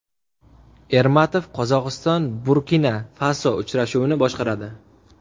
Ermatov Qozog‘iston Burkina-Faso uchrashuvini boshqaradi.